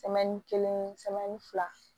kelen fila